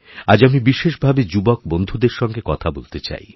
আজ আমি বিশেষভাবে যুবক বন্ধুদেরসঙ্গে কথা বলতে চাই